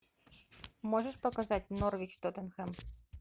можешь показать норвич тоттенхэм